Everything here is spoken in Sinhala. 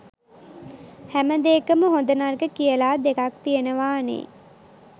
හැමදේකම හොඳ නරක කියලා දෙකක් තියෙනවානේ.